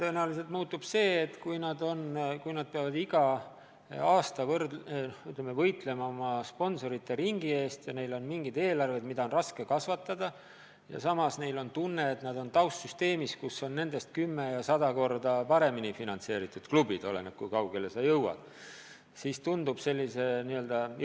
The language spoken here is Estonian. Tõenäoliselt muutub see, et kui nad peavad iga aasta võitlema oma sponsorite ringi eest ja neil on eelarve, mida on raske kasvatada, ja samas nad on taustsüsteemis, kuhu kuuluvad nendest kümme või sada korda enam finantseeritud klubid – oleneb, kui kaugele nad on jõudnud –, siis tekib jõuetuse tunne.